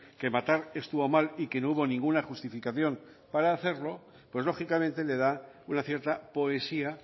que matar estuvo mal y que no hubo ninguna justificación para hacerlo pues lógicamente le da una cierta poesía